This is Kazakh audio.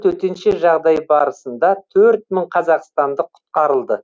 төтенше жағдай барысында төрт мың қазақстандық құтқарылды